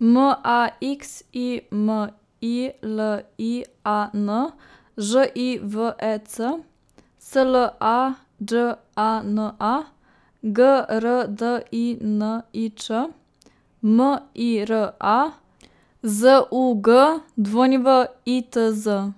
M A X I M I L I A N, Ž I V E C; S L A Đ A N A, G R D I N I Č; M I R A, Z U G W I T Z;